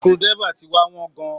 Screw driver ti wá wọ́n gan-an.